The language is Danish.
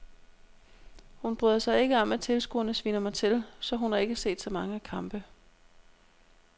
Hun bryder sig ikke om at tilskuerne sviner mig til, så hun har ikke set så mange kampe.